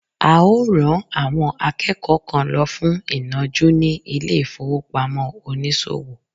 a o ran àwọn akẹ́kọ̀ọ́ kan lọ fún inọju ni ilé ifowopamọ onísòwò